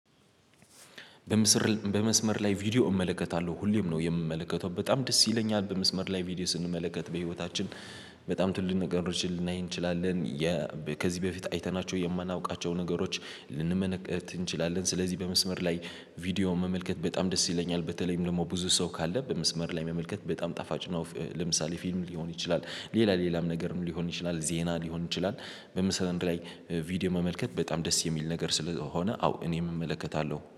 በምስር በመስመር ላይ ቪዲዮ እመለከታለሁ ሁሌም ነው የምመለከተው በጣም ደስ ይለኛል። በመስመር ላይ ቪዲዮ ስንመለከት በህይወታችን በጣም ትልልቅ ነገሮችን ልናይ እንችላለን። ከዚህ በፊት አይተናቸው የማናውቃቸው ነገሮች ልንመለከት እንችላለን። ስለዚህ በመስመር ላይ ቪዲዮ መመልከት በጣም ደስ ይለኛል። በተለይም ደግሞ ብዙ ሰው ካለ በመስመር ላይ መመልከት በጣም ጣፋጭ ነው። ለምሳሌ ፊልም ሊሆን ይችላል ሌላ ሌላም ነገር ሊሆን ይችላል ዜና ሊሆን ይችላል። በምስል አንድ ላይ ቪዲዮ መመልከት በጣም ደስ የሚል ነገር ስለሆነ አዎ እኔም እመለከታለሁ